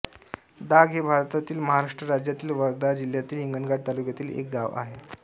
दाग हे भारतातील महाराष्ट्र राज्यातील वर्धा जिल्ह्यातील हिंगणघाट तालुक्यातील एक गाव आहे